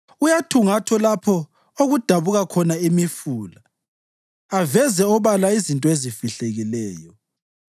Uyathungatha lapho okudabuka khona imifula aveze obala izinto ezifihlekileyo.